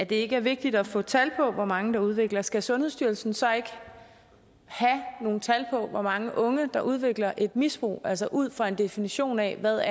det ikke er vigtigt at få tal på hvor mange der udvikler det skal sundhedsstyrelsen så ikke have nogle tal på hvor mange unge der udvikler et misbrug altså ud fra en definition af hvad